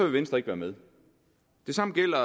venstre ikke være med det samme gælder